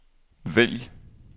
vælg